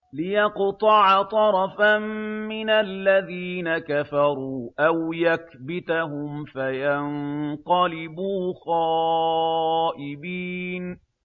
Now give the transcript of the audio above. لِيَقْطَعَ طَرَفًا مِّنَ الَّذِينَ كَفَرُوا أَوْ يَكْبِتَهُمْ فَيَنقَلِبُوا خَائِبِينَ